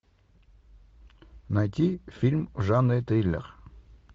найти фильм в жанре триллер